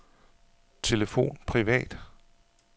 telefon privat